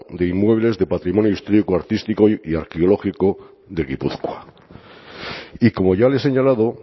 de inmuebles de patrimonio histórico artístico y arqueológico de gipuzkoa y como ya le he señalado